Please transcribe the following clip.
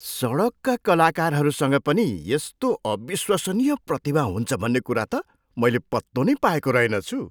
सडकका कलाकारहरूसँग पनि यस्तो अविश्वसनीय प्रतिभा हुन्छ भन्ने कुरा त मैले पत्तो नै पाएको रहेनछु।